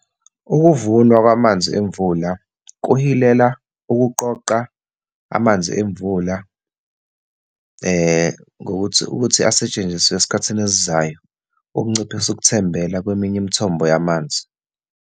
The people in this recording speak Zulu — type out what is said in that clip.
Ukuvunwa kwamanzi emvula kuhilela ukuqoqa amanzi emvula ngokuthi, ukuthi asetshenziswe esikhathini esizayo, okunciphisa ukuthembela kweminye imithombo yamanzi.